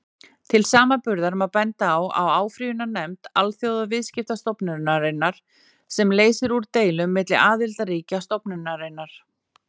Til samanburðar má benda á áfrýjunarnefnd Alþjóðaviðskiptastofnunarinnar, sem leysir úr deilum milli aðildarríkja stofnunarinnar.